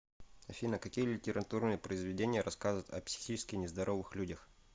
афина какие литературные произведения рассказывают о психически нездоровых людях